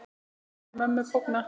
Sjaldan sá ég mömmu bogna.